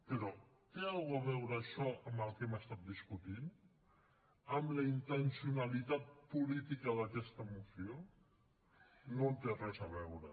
però té alguna cosa a veure això amb el que hem estat discutint amb la intencionalitat política d’aquesta moció no hi té res a veure